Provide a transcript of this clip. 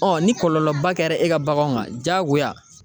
ni kɔlɔlɔ ba kɛra e ka baganw ma jagoya